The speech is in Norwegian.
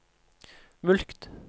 mulkt